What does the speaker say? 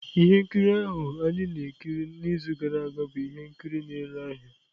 Ihe nkiri ahụ anyị na-ekiri n'izu gara aga bụ ihe nkiri na-ere ahịa.